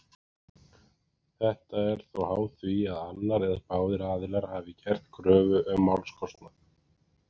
Þetta er þó háð því að annar eða báðir aðilar hafi gert kröfu um málskostnað.